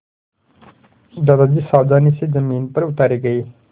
दादाजी सावधानी से ज़मीन पर उतारे गए